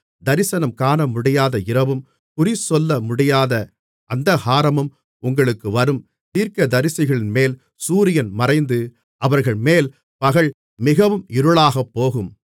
தரிசனம் காணமுடியாத இரவும் குறிசொல்லமுடியாத அந்தகாரமும் உங்களுக்கு வரும் தீர்க்கதரிசிகளின்மேல் சூரியன் மறைந்து அவர்கள்மேல் பகல் மிகவும் இருளாகப்போகும்